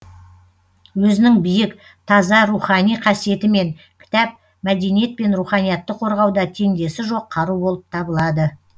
өзінің биік таза рухани қасиетімен кітап мәдениет пен руханиятты қорғауда теңдесі жоқ қару болып табылады